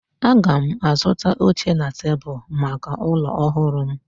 Aga m azụta oche na tebụl maka ụlọ ọhụrụ m